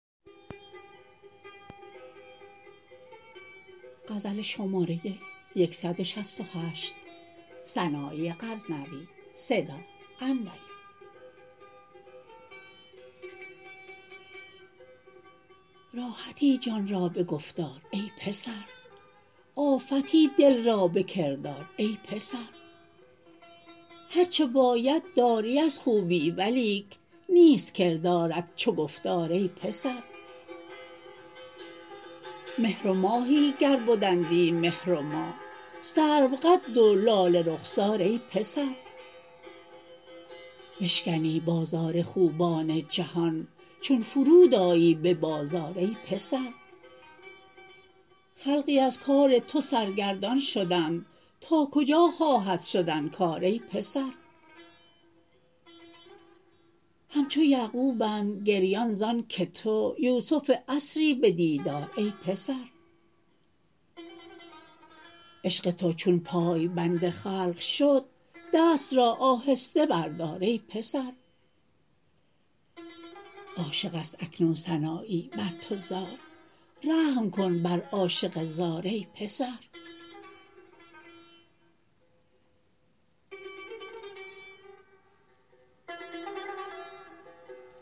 راحتی جان را به گفتار ای پسر آفتی دل را به کردار ای پسر هر چه باید داری از خوبی ولیک نیست کردارت چو گفتار ای پسر مهر و ماهی گر بدندی مهر و ماه سرو قد و لاله رخسار ای پسر بشکنی بازار خوبان جهان چون فرود آیی به بازار ای پسر خلقی از کار تو سرگردان شدند تا کجا خواهد شدن کار ای پسر همچو یعقوبند گریان زان که تو یوسف عصری به دیدار ای پسر عشق تو چون پای بند خلق شد دست را آهسته بردار ای پسر عاشق ست اکنون سنایی بر تو زار رحم کن بر عاشق زار ای پسر